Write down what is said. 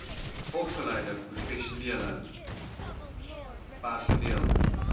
opgeleide professionele personeel